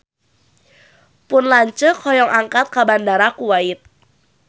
Pun lanceuk hoyong angkat ka Bandara Kuwait